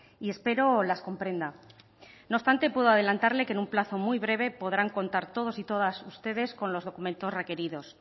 y espero las comprenda no obstante puedo adelantarle que en un plazo muy breve podrán contar todos y todas ustedes con los documentos requeridos